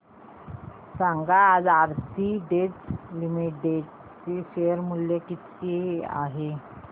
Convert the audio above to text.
सांगा आज Aarti drugs limited चे शेअर मूल्य किती आहे